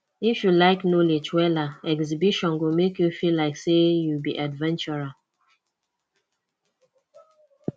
if you like knowledge wella exhibition go make you feel like say you be adventurer